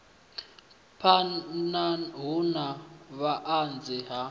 phana hu na vhuanzi ha